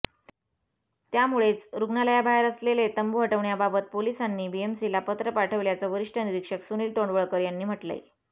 त्यामुळेच रुग्णालयाबाहेर असलेले तंबू हटवण्याबाबत पोलिसांनी बीएमसीला पत्र पाठवल्याचं वरिष्ठ निरीक्षक सुनील तोंडवळकर यांनी म्हटलंय